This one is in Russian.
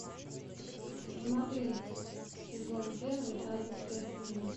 смотреть сезон первый тайны следствия